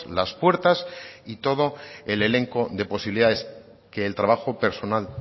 las puertas y todo el elenco de posibilidades que el trabajo personal